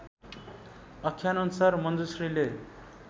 आख्यानअनुसार मञ्जुश्रीले